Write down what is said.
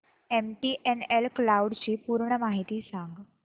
MTNL cloud ची पूर्ण माहिती सांग